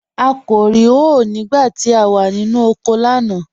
À kò rí hòé nígbà tí à wà nínu oko lánà.